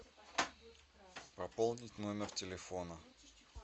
пополнить номер телефона